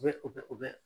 U bɛ u bɛ u bɛ